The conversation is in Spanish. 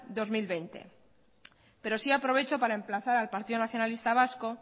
dos mil veinte pero sí aprovecho para emplazar al partido nacionalista vasco